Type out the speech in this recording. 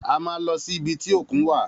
A má lọ sí ibi tí òkun wa